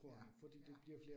Ja, ja